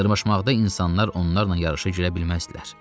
Dırmaşmaqda insanlar onlarla yarışa girə bilməzdilər.